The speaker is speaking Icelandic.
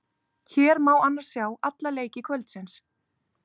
Hér má annars sjá alla leiki kvöldsins.